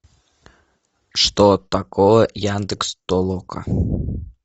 что такое яндекс толока